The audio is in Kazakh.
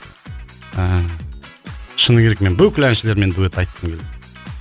ыыы шыны керек мен бүкіл әншілермен дуэт айтқым келеді